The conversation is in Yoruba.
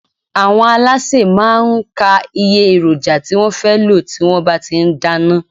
Àwọn alásè má a n ka iye èròjà tí wón fé lò tí wón bá ti n dáná